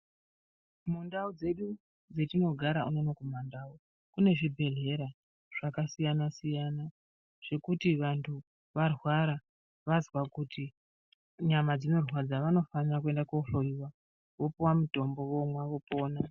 Mundau dzedu dzatinogara unono kumandau kune zvibhedhlera zvakasiyana siyana zvekuti vantu varwara vazwa kuti nyama dzinorwadza vanofanira kuenda kohloiwa vopuwa mutombo vomwa vopona.